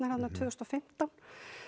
þarna tvö þúsund og fimmtán